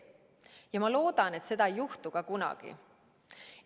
Ja ma loodan, et seda ei juhtu ka kunagi.